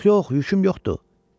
Yox, yox, yüküm yoxdur.